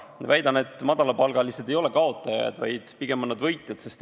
Ma väidan, et madalapalgalised ei ole kaotajad, pigem on nad võitjad.